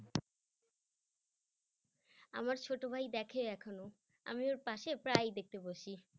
আমার ছোট ভাই দেখে এখনো আমি ওর পাশে প্রায় দেখতে বসি।